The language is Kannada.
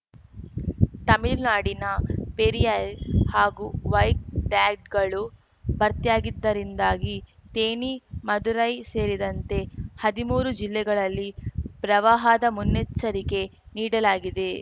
ತಮಿಳ್ ನಾಡಿನ ಪೆರಿಯಾ ಹಾಗೂ ವೈಗ್ ಟ್ಯಾಗಳು ಭರ್ತಿಯಾಗಿದ್ದರಿಂದಾಗಿ ಥೇಣಿ ಮದುರೈ ಸೇರಿದಂತೆ ಹದಿಮೂರು ಜಿಲ್ಲೆಗಳಲ್ಲಿ ಪ್ರವಾಹದ ಮುನ್ನೆಚ್ಚರಿಕೆ ನೀಡಲಾಗಿದೆ